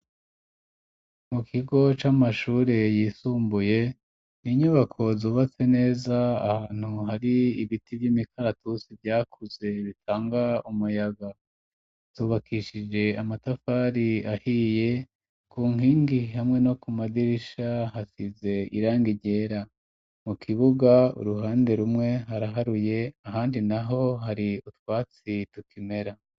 Mu kigo c'amashure yisumbuye inyubako zubatse neza ahantu hari ibiti vy'imikaratusi byakuze bitangwa umuyaga, zubakishije amatafari ahiye ku nkingi hamwe no kumadirisha hasize irangi ryera, mu kibuga uruhande rumwe haraharuye ahandi naho hari utwatsi tukimera.